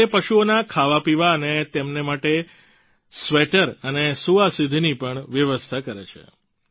તેઓ તે પશુઓના ખાવાપીવા અને તેમને માટે સ્વેટર અને સૂવા સુધીની પણ વ્યવસ્થા કરે છે